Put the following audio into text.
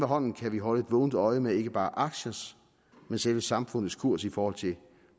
hånden kan vi holde et vågent øje ikke med bare aktiers men selve samfundets kurs i forhold til